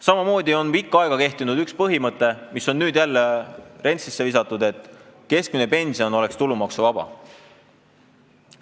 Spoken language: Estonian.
Samamoodi on pikka aega kehtinud üks põhimõte, mis on jälle rentslisse visatud: et keskmine pension oleks tulumaksuvaba.